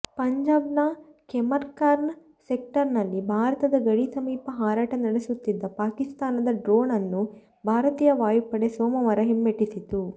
ಪಂಜಾಬ್ನ ಖೇಮ್ಕರನ್ ಸೆಕ್ಟರ್ನಲ್ಲಿ ಭಾರತದ ಗಡಿ ಸಮೀಪ ಹಾರಾಟ ನಡೆಸುತ್ತಿದ್ದ ಪಾಕಿಸ್ತಾನದ ಡ್ರೋನ್ ಅನ್ನು ಭಾರತೀಯ ವಾಯುಪಡೆ ಸೋಮವಾರ ಹಿಮ್ಮೆಟಿಸಿತ್ತು